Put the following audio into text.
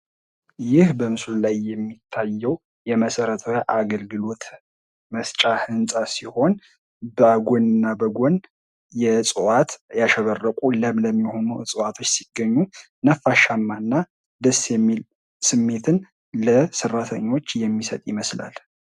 በምስሉ ላይ የምንመለከተው የመሰረታዊ አገልግሎት መስጫ ህንፃ ሲሆን በጎን እና በጎን ለምለም እና በዕዋት ያሸበረቁ የሠራተኞች ነፋሻማ ስሜትን እሚሰጥ ይመስላል።